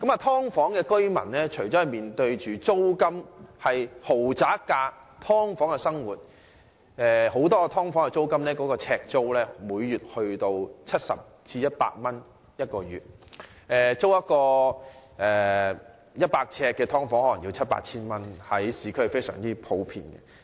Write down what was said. "劏房"住戶付出豪宅般的租金，過的是"劏房"的生活，很多"劏房"每月呎租高達70至100元，租住市區一個100呎的"劏房"可能須付七八千元，這是非常普遍的。